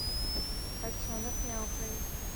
котенок мяукает